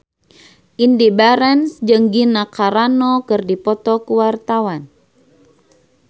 Indy Barens jeung Gina Carano keur dipoto ku wartawan